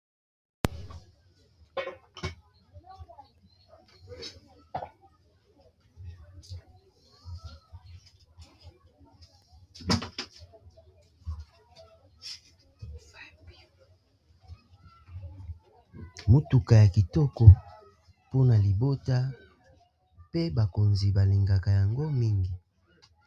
motuka ya kitoko mpona libota pe bakonzi balingaka yango mingi